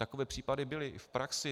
Takové případy byly i v praxi.